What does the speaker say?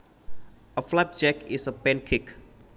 A flapjack is a pancake